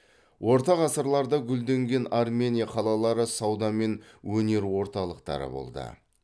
орта ғасырларда гүлденген армения қалалары сауда мен өнер орталықтары болды